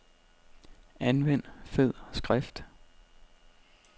Anvend fed skrift.